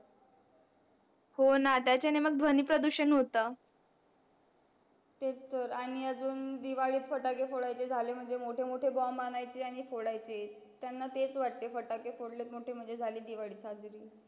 हो ना त्याच्यांनी मग ध्वनी प्रदूषण होत तेच तर आणि अजून दिवाळी त फटाके फोडायचे झाले म्हणजे मोठे मोठे bom आणायचे आणि फोडायचे त्यांना तेच वाट्त फटाके फोडले म्हणजे झाली दिवाळी साजरी